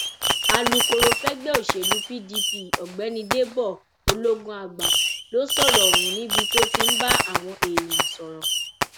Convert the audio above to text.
alūkkóró fẹgbẹ òṣèlú pdp ọgbẹni dèbò ológunàgbà ló sọrọ ọhún níbi tó ti ń bá àwọn èèyàn sọrọ